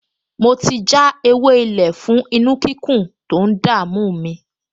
Mo ti já ewé-ilé fún inú-kíkún tó ń dààmú mi